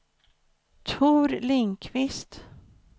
Tor Lindqvist